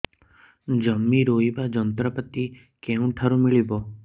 ଜମି ରୋଇବା ଯନ୍ତ୍ରପାତି କେଉଁଠାରୁ ମିଳିବ